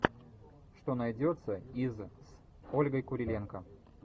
что найдется из с ольгой куриленко